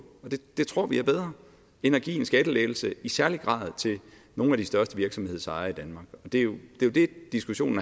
det tror vi er bedre end at give en skattelettelse i særlig grad til nogle af de største virksomhedsejere i danmark det er jo det diskussionen